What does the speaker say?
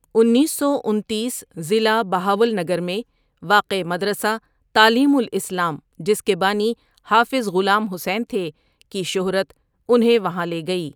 انیس سو انتیس ضلع بہاولنگر میں واقع مدرسہ تعلیم الاسلام جس کے بانی حافظ غلام حسین تھے کی شہرت انہیں وہاں لے گئی۔